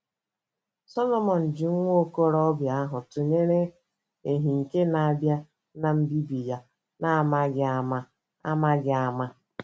Solomọn ji nwa okorobịa ahụ tụnyere ‘ ehi nke na - abịa n’mbibi ya na amaghị ama. ’ amaghị ama. ’